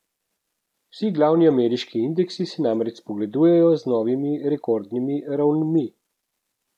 Vsi glavni ameriški indeksi se namreč spogledujejo z novimi rekordnimi ravnmi.